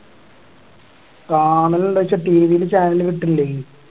കാണലുണ്ടൊച്ച TV ല് channel കിട്ടണില്ലായി